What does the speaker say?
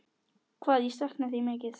Hvað ég sakna þín mikið.